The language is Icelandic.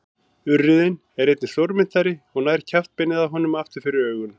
Urriðinn er einnig stórmynntari og nær kjaftbeinið á honum aftur fyrir augun.